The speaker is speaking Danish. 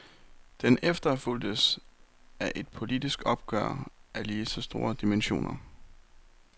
Den efterfulgtes af et politisk opgør af lige så store dimensioner.